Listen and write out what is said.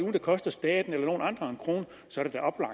at det koster staten eller nogen andre en krone og så